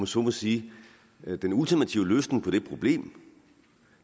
så må sige er den ultimative løsning på det problem